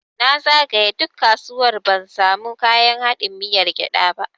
Na zagaye duk kasuwar ban samu kayan haɗin miyar gyada ba.